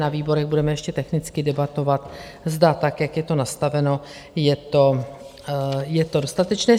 Na výborech budeme ještě technicky debatovat, zda tak, jak je to nastaveno, je to dostatečné.